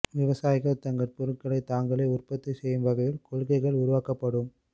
விவசாயிகள் தங்கள் பொருட்களை தாங்களே உற்பத்தி செய்யும் வகையில் கொள்கைகள் உருவாக்கப்படும்